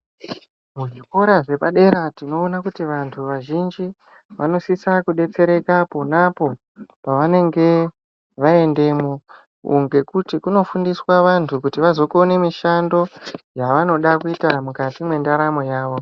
Muzvikora zvepadera tinoone kuti vantu vazhinji vanositsa kudetsereka ponapo pavanenge vaendemwo ngekuti kunofundiswa vantu kuti vazokone mishando yavonoda kuita mukati mwendaramo yawo